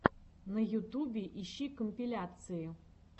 на ютубе ищи компиляции